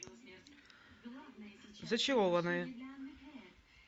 зачарованные